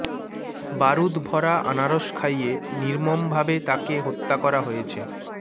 বারুদ ভরা আনারস খাইয়ে নির্মমভাবে তাকে হত্যা করা হয়েছে